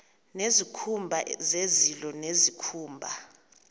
nezikhumba zezilo nezikhumba